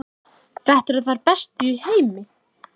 Þetta eru þær bestu í heimi!